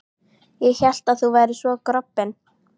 Ég hélt að þú værir svo grobbinn.